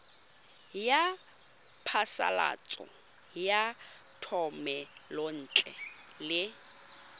ya phasalatso ya thomelontle le